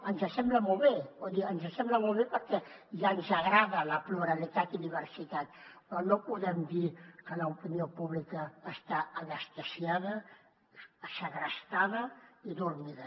ens sembla molt bé vull dir ens sembla molt bé perquè ja ens agrada la pluralitat i diversitat però no podem dir que l’opinió pública està anestesiada segrestada i adormida